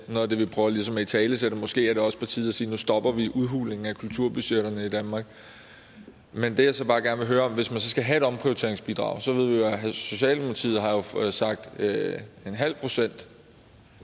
noget af det vi prøver ligesom at italesætte måske er det også på tide at sige nu stopper vi udhulingen af kulturbudgetterne i danmark men det jeg så bare gerne vil høre om hvis man skal have et omprioriteringsbidrag at socialdemokratiet så har sagt en halv procent